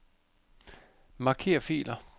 Marker filer.